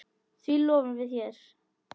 Því lofum við þér!